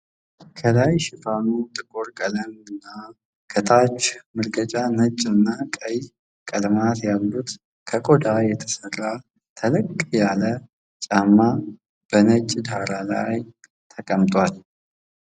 ከላይ ሽፋኑ ጥቁር ቀለም እና ከታች መርገጫው ነጭ እና ቀይ ቀለማት ያሉት ከቆዳ የተሰሪ ተለቅ ያለ ጫማ በነጭ ዳራ ላይ ተቀምጧል።